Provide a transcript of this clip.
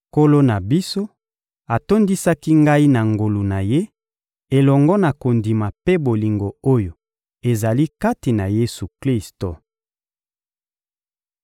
Nkolo na biso atondisaki ngai na ngolu na Ye, elongo na kondima mpe bolingo oyo ezali kati na Yesu-Klisto.